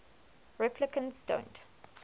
replicants don't